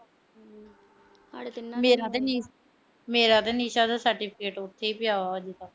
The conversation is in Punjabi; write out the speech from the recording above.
ਮੇਰਾ ਤੇ ਨਿਸ਼ਾ ਦਾ certificate ਉਥੇ ਈ ਪਿਆ ਅਜੇ ਤੱਕ।